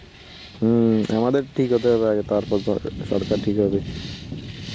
হম আমাদের ঠিক হতে হবে আগে তারপর দরকার~ সরকার ঠিক হবে.